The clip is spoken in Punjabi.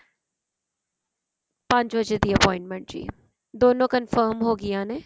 ਪੰਜ ਵਜੇ ਦੀ appointment ਜੀ ਦੋਨੋ confirm ਹੋਗੀਆਂ ਨੇ